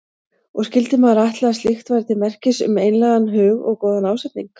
Og skyldi maður ætla að slíkt væri til merkis um einlægan hug og góðan ásetning.